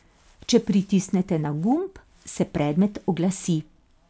Če pritisnete na gumb, se predmet oglasi.